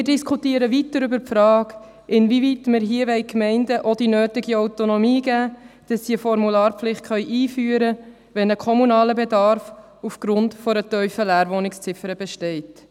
Wir diskutieren weiterhin über die Frage, inwieweit wir hier den Gemeinden auch die notwendige Autonomie geben wollen, damit sie eine Formularpflicht einführen können, wenn ein kommunaler Bedarf aufgrund einer tiefen Leerwohnungsziffer besteht.